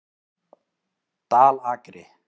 Dalakri